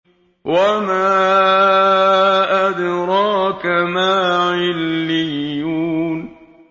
وَمَا أَدْرَاكَ مَا عِلِّيُّونَ